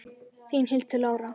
Þín, Hildur Lára.